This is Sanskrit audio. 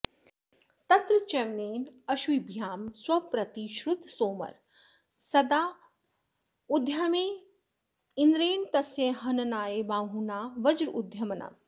तत्र च्यवनेनाश्विभ्यां स्वप्रतिश्रुतसोमरसदानोद्यमे इन्द्रेण तस्य हननाय बाहुना वज्रोद्यमनम्